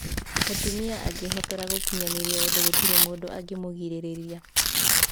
Mũtumia angĩhotora gũkinyanĩria ũndũ gũtirĩ mũndũ angĩmũgirĩrĩria.